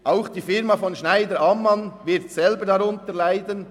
Auch die Firma von Johann Schneider-Ammann wird selber darunter leiden.